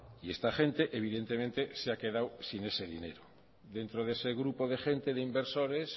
y esta gente evidentemente se ha quedado sin ese dinero dentro de ese grupo de gente de inversores